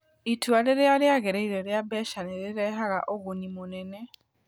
Itua rĩrĩa rĩagĩrĩire rĩa mbeca nĩ rĩrehaga ũguni mũnene: